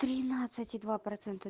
тринадцать и два процента